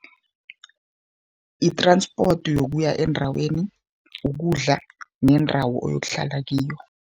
I-transport yokuya endaweni, ukudla nendawo oyokuhlala kiyo.